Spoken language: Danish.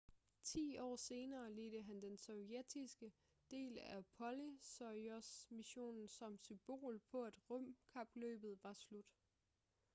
ti år senere ledte han den sovjetiske del af apollo-soyuz-missionen som symbol på at rumkapløbet var slut